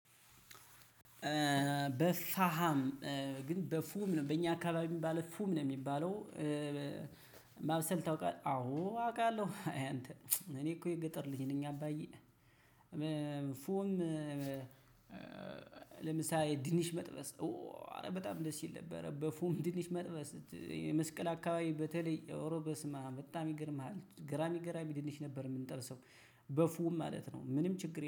በሳሃም ግን በፉም በኛ አካባቢ ባለ ፉም ነው የሚባለው ማብሰል ታውቃለህ አዎ አውቃለሁ አይ አንተ እኔ እኮ የገጠር ልጅ ነኝ። አባዬ ፉም ለምሳሌ ድንች መጥበስ ኧረ በጣም ደስ ይል ነበረ። በፉም ድንች መጥበስ መስቀል አካባቢ በተለይ ኦሮ በስማም በጣም ይገርምሃል ገራሚ ገራሚ ድንች ነበር የምንጠብሰው። በፉ ማለት ነው ምንም ችግር